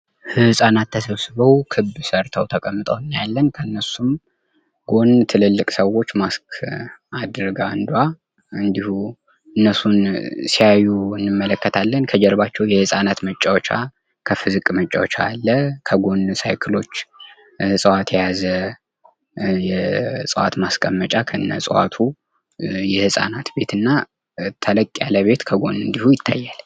ህጻናት ተሰብስበው ክብ ሰርተው ተቀምጠው እናያለን ።ከእነርሱም ጎን ትልልቅ ሰዎች ማስክ አድርጋ አንዷ እንዲሁ እነሱን ሲያዩ እንመለከታለን ።ከጀርባቸው የህፃናት መጫወቻ ከፍ ዝቅ መጫወቻ አለ። ከጎን ሳይክሎች፣ እጽዋት የያዘ የእጽዋት ማስቀመጫ ከነ ዕጽዋቱ፣ የህፃናት ቤት እና ተለቅ ያለ ቤት ከጎን እንዲሁ ይታያል።